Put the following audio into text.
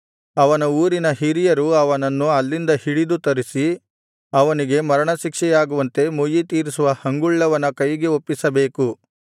ಒಂದಕ್ಕೆ ಓಡಿಹೋದರೆ ಅವನ ಊರಿನ ಹಿರಿಯರು ಅವನನ್ನು ಅಲ್ಲಿಂದ ಹಿಡಿದು ತರಿಸಿ ಅವನಿಗೆ ಮರಣಶಿಕ್ಷೆಯಾಗುವಂತೆ ಮುಯ್ಯಿತೀರಿಸುವ ಹಂಗುಳ್ಳವನ ಕೈಗೆ ಒಪ್ಪಿಸಬೇಕು